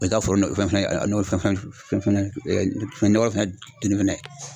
I ka foro fɛn n'o fɛn fɛnɛ nɔgɔ fɛnɛ